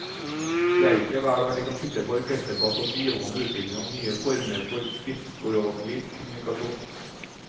Det er ikke hver dag de kan sitte på orkesterplass og bivåne utviklingen av nye former for skriftspråklig kommunikasjon.